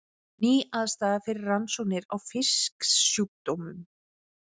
Ný aðstaða fyrir rannsóknir á fisksjúkdómum